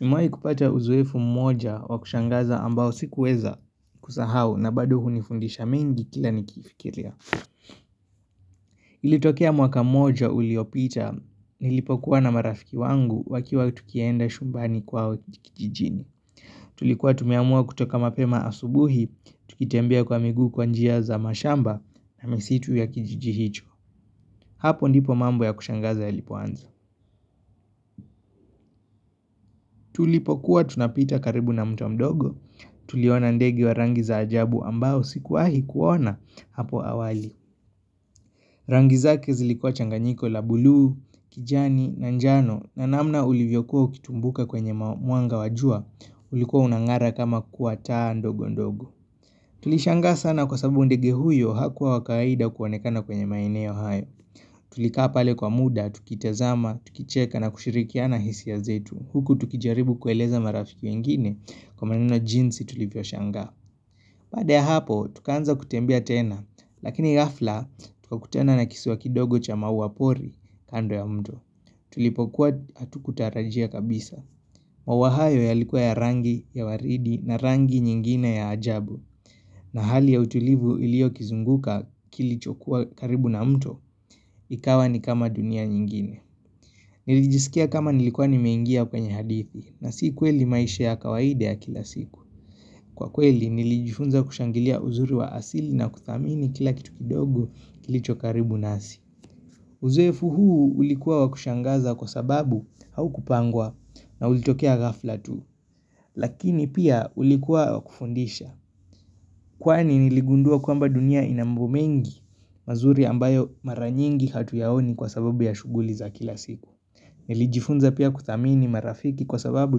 Nimewai kupata uzoefu mmoja wa kushangaza ambao sikuweza kusahau na bado hunifundisha mingi kila nikiifikiria. Ilitokea mwaka mmoja uliopita, nilipokuwa na marafiki wangu wakiwa tukienda shumbani kwa kijijini. Tulikuwa tumeamua kutoka mapema asubuhi, tukitembea kwa miguu kwa njia za mashamba na misitu ya kijiji hicho. Hapo ndipo mambo ya kushangaza yalipoanza. Tulipokuwa tunapita karibu na mto mdogo, tuliona ndege wa rangi za ajabu ambao sikuwahi kuona hapo awali. Rangi zake zilikuwa changanyiko la buluu, kijani na njano na namna ulivyokuwa ukitumbuka kwenye mwanga wa jua ulikuwa unang'ara kama kwa taa ndogondogo. Tulishangaa sana kwa sababu ndege huyo hakuwa wa kaida kuonekana kwenye maeneo hayo. Tulikaa pale kwa muda, tukitazama, tukicheka na kushirikiana hisia zetu. Huku tukijaribu kueleza marafiki wengine kwa maneno jinsi tulivyoshangaa. Baada ya hapo, tukaanza kutembea tena, lakini ghafla, tukakutana na kisiwa kidogo cha maua pori kando ya mto. Tulipokuwa hatukutarajia kabisa. Maua hayo yalikuwa ya rangi ya waridi na rangi nyingine ya ajabu. Na hali ya utulivu iliokizunguka kilichokuwa karibu na mto, ikawa ni kama dunia nyingine. Nilijisikia kama nilikuwa nimeingia kwenye hadithi, na si kweli maisha ya kawaida ya kila siku. Kwa kweli nilijifunza kushangilia uzuri wa asili na kuthamini kila kitu kidogo kilicho karibu nasi. Uzoefu huu ulikuwa wa kushangaza kwa sababu haukupangwa na ulitokea ghafla tu. Lakini pia ulikuwa wa kufundisha. Kwani niligundua kwamba dunia ina mambo mengi mazuri ambayo mara nyingi hatuyaoni kwa sababu ya shughuli za kila siku. Nilijifunza pia kuthamini marafiki kwa sababu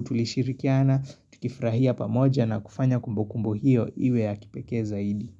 tulishirikiana tukifrahia pamoja na kufanya kumbukumbu hiyo iwe ya kipekee zaidi.